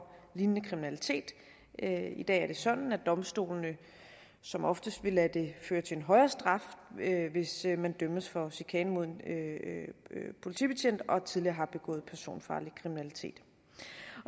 lignende kriminalitet i dag er det sådan at domstolene som oftest vil lade det føre til en højere straf hvis man dømmes for chikane mod en politibetjent og tidligere har begået personfarlig kriminalitet